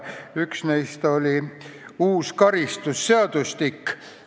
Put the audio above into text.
Üks neist oli uus karistusseadustik.